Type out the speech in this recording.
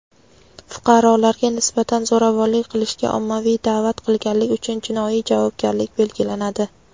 fuqarolarga nisbatan zo‘ravonlik qilishga ommaviy da’vat qilganlik uchun jinoiy javobgarlik belgilanadi.